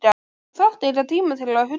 Þú þarft engan tíma til að hugsa.